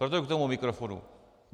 Proto k tomu mikrofonu.